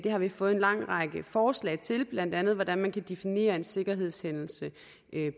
har vi fået en lang række forslag til blandt andet hvordan man kan definere en sikkerhedshændelse